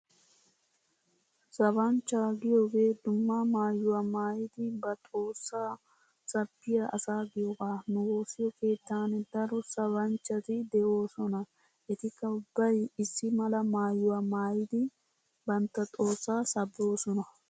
Sabanchchaa giyoogee dumma maayuwaa maayidi ba xoossaa sabbiyaa asa giyoogaa. Nu woossiyo keettan daro sabanchchati de'oosona etikka ubbay issi mala maayuwaa maayidi bantta xoossaa sabboosona.